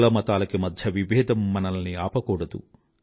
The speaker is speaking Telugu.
కులమతాలకి మధ్య విభేదం మనల్ని ఆపకూడదు